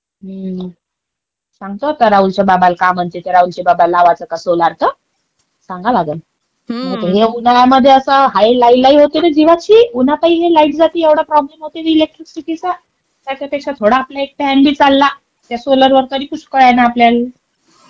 सांगतो आता राहुलच्या बाबाला काय म्हणतात राहुलचे बाबा लावायचा का सोलार का? सांगाव लागल. मंग तर हे उन्हाळ्यामध्ये अस हाय लई-लई होती रे जीवाची. उन्हातही ही लाईट जाती, येवढा प्रॉब्लेम येतो या इलेक्ट्रिसिटी चा. त्याच्यापेक्षा एक थोडा आपला एक फॅन बी चालला त्या सोलार वर, तरी पुष्कळ आहे ना आपल्याला.